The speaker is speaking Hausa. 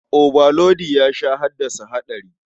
Obalodi ya sha haddasa haɗari.